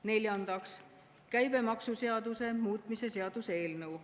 Neljandaks, käibemaksuseaduse muutmise seaduse eelnõu.